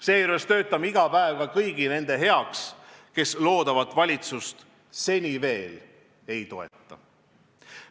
Seejuures töötame iga päev ka kõigi nende heaks, kes loodavat valitsust seni veel ei toeta.